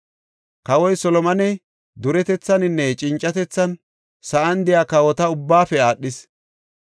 Kawoy Solomoney duretethaninne cincatethan sa7an de7iya kawota ubbaafe aadhees.